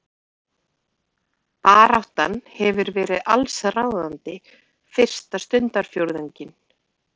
Baráttan hefur verið allsráðandi fyrsta stundarfjórðunginn